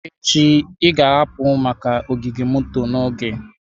Echi, ị ga-ahapụrịrị maka ogige moto n'oge.